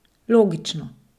Logično.